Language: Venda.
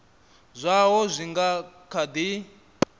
zwaho zwi nga kha di